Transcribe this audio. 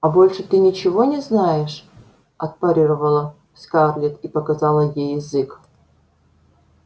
а больше ты ничего не знаешь отпарировала скарлетт и показала ей язык